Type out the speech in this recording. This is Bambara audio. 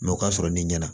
Mɛ o ka sɔrɔ ni ɲɛna